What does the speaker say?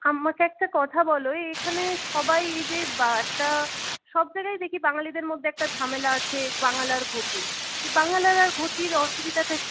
আমাকে একটা কথা বলো এখানে সবাই এই যে বা একটা সব জায়গায় দেখি বাঙ্গালীদের মধ্যে একটা ঝামেলা আছে বাঙাল আর ঘটি । বাঙাল আর ঘটির অসুবিধাটা কি?